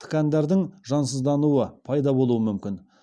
ткандардың жансыздануы пайда болуы мүмкін